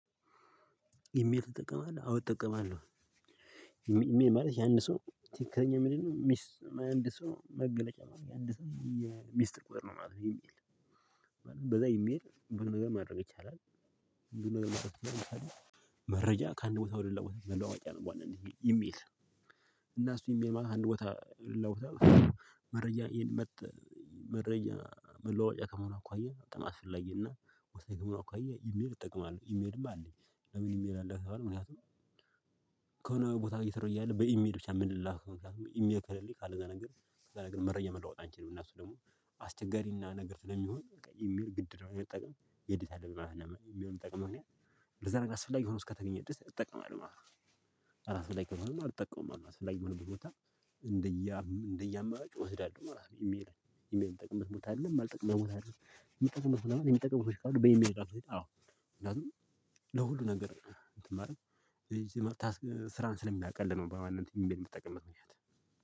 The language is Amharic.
ኢሜል ትጠቀማለህ? አዎ እጠቀማለሁ። ኢሜል ማለት የአንድ ሰው ትክክለኛ ምንድ ነው የአንድ ሰው መገለጫ አንድ ሰው ሚስጢር በር ነው ማለት ነው። በዛ ኢሜል የሆነ ነገር ማድረግ ይቻላል ለምሳሌ መረጃ ከአንድ ቦታ ወደ ሌላ ቦታ መለዋወጫ ነው በዋናነት ማለት ነው ኢሜል። እና እሱ ኢሜል ማለት ከአንድ ቦታ ወደ ሌላ ቦታ መረጃ መረጃ መለዋወጫ ከመሆኑ አኳየ በጣም አስፈላጊና ወሳኝ ከመሆኑ አኳያ ኢሜል እጠቀማለሁ። ኢሜልም አለኝ። ለምን ኢሜል አለህ? ከተባልሁ ምክንያቱም ከሆነ ቦታ እየሰራሁ እያለ በኢሜል ብቻ የምንላከው ምክንያቱም ኢሜል ከሌለኝ ካለ እዛ ነገር ከዛ ነገር መረጃ መለዋወጥ አንችልም። እነሱ ደግሞ አስቸጋሪና ነገር ስለሚሆን ኢሜል ግድ ነው። መጠቀም ግዴታ አለብን ማለት ነው። ኢሜል ምጠቀምበት ምክንያት ለዛ ነገር አስፈላጊ ሆኖ እስከተገኘ ድረስ እጠቀማለሁ ማለት ነው። አስፈላጊ ካልሆነ አልጠቀምም ማለት ነው። አስፈላጊ በሆነ ቦታ እንደየአመራጭ እወስዳለሁ ማለት ነው። ኢሜል ኢሜል እምጠቀምበት ቦታ አለ፣ የማልጠቀምበት ቦታ አለ። የሚጠቀሙ ሰዎች በኢሜል ራሱ ለሁሉ ነገር ስራን ስለሚያቀል ነው በዋናነት ኢሜል የምትጠቀምበት ምክንያት።